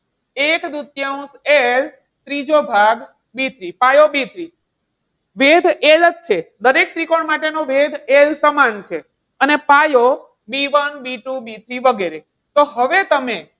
એક દૂતીયાંશ L ત્રીજો ભાગ B three પાયો B three વેધ L જ છે. દરેક ત્રિકોણ માટેનો વેધ L સમાન છે. અને પાયો B one B two B three વગેરે તો હવે તમે,